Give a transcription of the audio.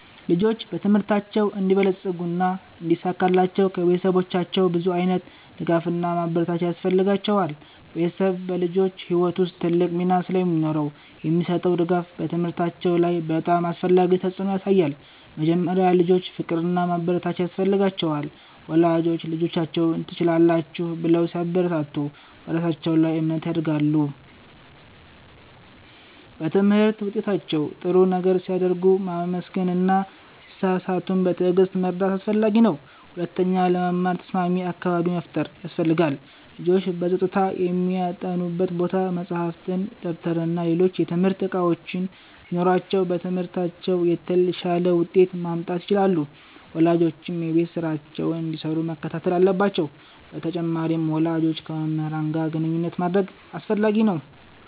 ልጆች በትምህርታቸው እንዲበለጽጉና እንዲሳካላቸው ከቤተሰቦቻቸው ብዙ ዓይነት ድጋፍና ማበረታቻ ያስፈልጋቸዋል። ቤተሰብ በልጆች ሕይወት ውስጥ ትልቅ ሚና ስለሚኖረው የሚሰጠው ድጋፍ በትምህርታቸው ላይ በጣም አስፈላጊ ተፅዕኖ ያሳያል። መጀመሪያ፣ ልጆች ፍቅርና ማበረታቻ ያስፈልጋቸዋል። ወላጆች ልጆቻቸውን “ትችላላችሁ” ብለው ሲያበረታቱ በራሳቸው ላይ እምነት ያድጋሉ። በትምህርት ውጤታቸው ጥሩ ነገር ሲያደርጉ ማመስገን እና ሲሳሳቱም በትዕግሥት መርዳት አስፈላጊ ነው። ሁለተኛ፣ ለመማር ተስማሚ አካባቢ መፍጠር ያስፈልጋል። ልጆች በጸጥታ የሚያጠኑበት ቦታ፣ መጻሕፍት፣ ደብተርና ሌሎች የትምህርት እቃዎች ሲኖሯቸው በትምህርታቸው የተሻለ ውጤት ማምጣት ይችላሉ። ወላጆችም የቤት ስራቸውን እንዲሰሩ መከታተል አለባቸው በተጨማሪም፣ ወላጆች ከመምህራን ጋር ግንኙነት ማድረግ አስፈላጊ ነው።